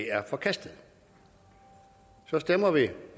er forkastet så stemmer vi